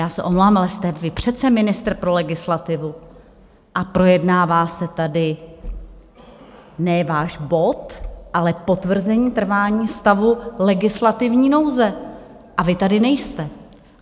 Já se omlouvám, ale jste vy přece ministr pro legislativu, a projednává se tady ne váš bod, ale potvrzení trvání stavu legislativní nouze, a vy tady nejste.